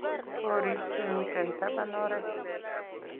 korik chemiten taban oret